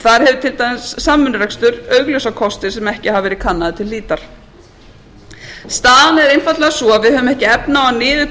þar hefur til dæmis samvinnurekstur augljósa kosti sem ekki hafa verið kannaðir til hlítar staðan er einfaldlega sú að við höfum ekki efni á að